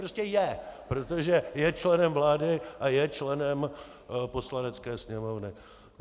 Prostě je, protože je členem vlády a je členem Poslanecké sněmovny.